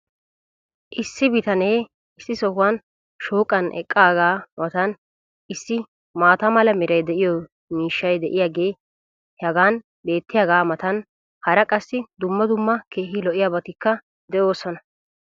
issi bitanee issi sohuwan shooqqan eqqaagaa matan issi maata mala meray de'iyo miishshay diyaagee hagan beetiyaagaa matan hara qassi dumma dumma keehi lo'iyaabatikka de'oosona.